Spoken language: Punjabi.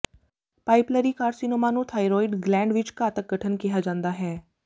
ਪਾਇਪਿਲਰੀ ਕਾਰਸੀਨੋਮਾ ਨੂੰ ਥਾਈਰੋਇਡ ਗਲੈਂਡ ਵਿੱਚ ਘਾਤਕ ਗਠਨ ਕਿਹਾ ਜਾਂਦਾ ਹੈ